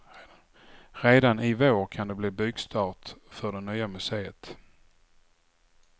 Redan i vår kan det bli byggstart för det nya museet.